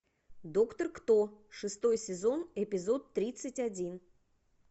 доктор кто шестой сезон эпизод тридцать один